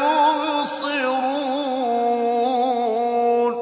يُبْصِرُونَ